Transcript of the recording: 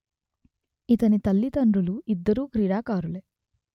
ఇతని తల్లిదండ్రులు ఇద్దరూ క్రీడాకారులే